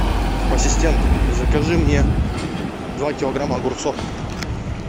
ассистент закажи мне два килограмма огурцов